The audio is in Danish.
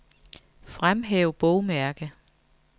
Fremhæv bogmærke.